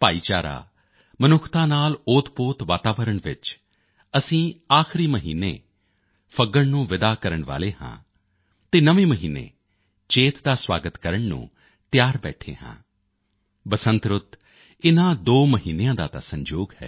ਭਾਈਚਾਰਾ ਮਨੁੱਖਤਾ ਨਾਲ ਓਤਪੋਤ ਵਾਤਾਵਰਣ ਵਿੱਚ ਅਸੀਂ ਆਖਰੀ ਮਹੀਨੇ ਫੱਗਣ ਨੂੰ ਵਿਦਾ ਕਰਨ ਵਾਲੇ ਹਾਂ ਅਤੇ ਨਵੇਂ ਮਹੀਨੇ ਚੇਤ ਦਾ ਸਵਾਗਤ ਕਰਨ ਨੂੰ ਤਿਆਰ ਬੈਠੇ ਹਾਂ ਬਸੰਤ ਰੁੱਤ ਇਨ੍ਹਾਂ ਦੋ ਮਹੀਨਿਆਂ ਦਾ ਤਾਂ ਸੰਜੋਗ ਹੈ